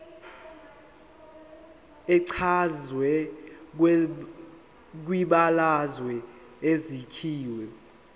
echazwe kwibalazwe isakhiwo